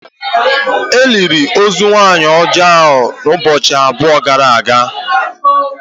E liri ozu nwanyị ọjọọ ahụ ụbọchị abụọ gara aga